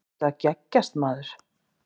Ertu að geggjast maður?